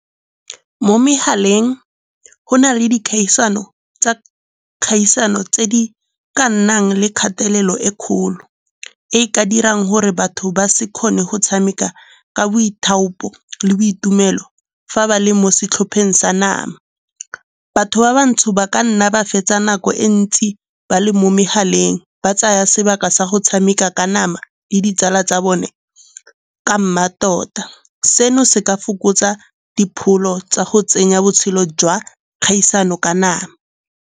Mo megaleng go na le dikgaisano tsa kgaisano tse di ka nnang le kgatelelo e kgolo, e e ka dirang gore batho ba se kgone go tshameka ka boithaopi le boitumelo fa ba le mo setlhopheng sa nama. Batho ba bantsho ba ka nna ba fetsa nako e ntsi ba le mo megaleng ba tsaya sebaka sa go tshameka ka nama le ditsala tsa bone ka mmatota. Seno se ka fokotsa dipholo tsa go tsenya botshelo jwa kgaisano ka nama.